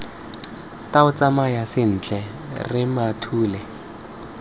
tau tsamaya sentle rre mathule